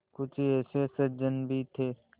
कुछ ऐसे सज्जन भी थे